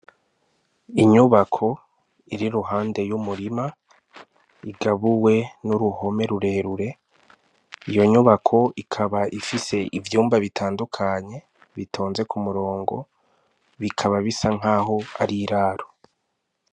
Inyubako iri iruhande y' umurima igabuwe n' uruhome rure rure iyo nyubako ikaba ifise ivyumba bitandukanye bitonze k'umurongo bikaba bisa nkaho ari iraro.